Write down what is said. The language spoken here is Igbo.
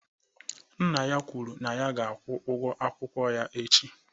Nna ya kwuru na ya ga-akwụ ụgwọ akwụkwọ ya echi